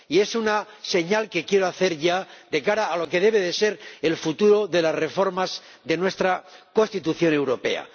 Y es una señal que quiero hacer ya de cara a lo que debe ser el futuro de las reformas de nuestra Constitución Europea.